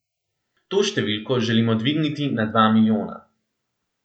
To številko želimo dvigniti na dva milijona.